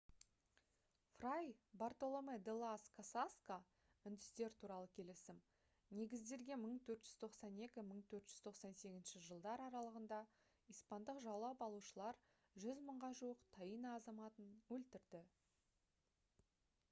фрай бартоломе-де-лас касасқа үндістер туралы келісім негізделген 1492 - 1498 жылдар аралығында испандық жаулап алушылар 100 мыңға жуық таино азаматын өлтірді